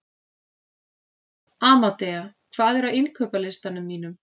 Amadea, hvað er á innkaupalistanum mínum?